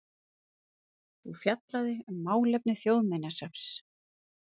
og fjallaði um málefni Þjóðminjasafns.